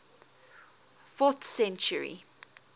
fourth century